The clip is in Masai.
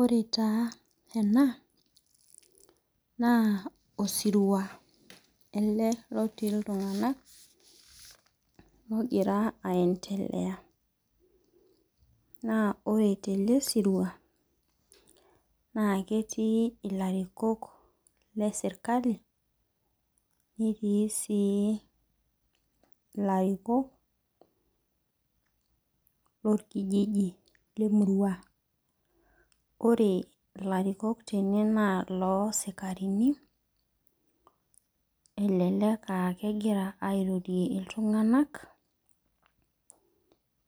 Ore taa ena naa, osirua ele lotii iltunganak negira aietelea. Naa ore te le sirua naa ketii ilarikok le sirkali netii sii ilarikok lorkijiji le murua. Ore ilarikok tene naa iloosikarini elelek ah kegira airorie iltunganak